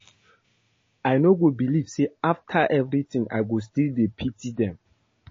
I no go believe say after everything I go still dey pity dem